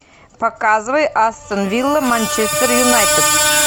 показывай астон вилла манчестер юнайтед